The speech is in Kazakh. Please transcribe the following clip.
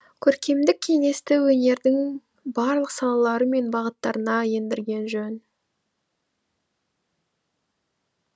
көркемдік кеңесті өнердің барлық салалары мен бағыттарына ендірген жөн